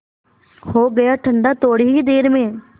हो गया ठंडा थोडी ही देर में